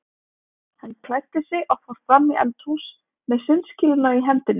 Hann klæddi sig og fór fram í eldhús með sundskýluna í hendinni.